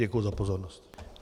Děkuji za pozornost.